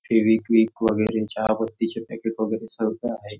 फेवीक्विक वगैरे चहा पत्तीचे पॅकेट वगैरे सगळं आहे.